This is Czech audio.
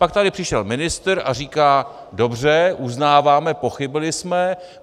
Pak tady přišel ministr a říká: Dobře, uznáváme, pochybili jsme.